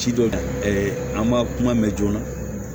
Ci dɔ de an b'a kuma mɛn joona